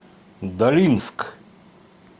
долинск